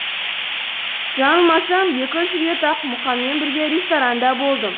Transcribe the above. жаңылмасам екі үш рет ақ мұқаңмен бірге ресторанда болдым